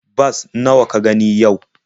Bas nawa ka gani yau?